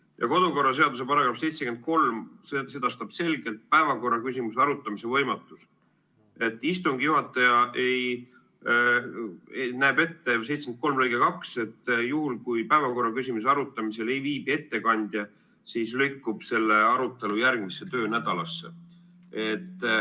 Ja kodukorraseaduse § 73 sedastab selgelt päevakorraküsimuse arutamise võimatuse: juhul, kui päevakorraküsimuse arutamisel ei viibi ettekandjat, siis lükkub selle arutelu järgmisesse töönädalasse.